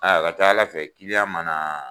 Aa a ka ca ala fɛ ma na